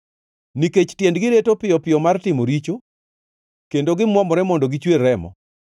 nikech tiendgi reto piyo piyo mar timo richo kendo gimwomore mondo gichwer remo.